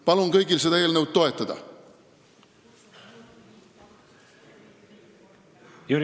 Palun kõigil seda eelnõu toetada!